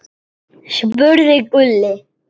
spurði Gulli.